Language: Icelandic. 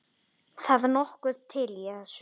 Það nokkuð til í þessu.